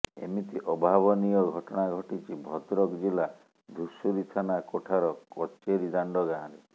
ଏମିତି ଅଭାବନୀୟ ଘଟଣା ଘଟିଛି ଭଦ୍ରକ ଜିଲ୍ଲା ଧୂଷୁରୀ ଥାନା କୋଠାର କଚେରୀଦାଣ୍ଡ ଗାଁରେ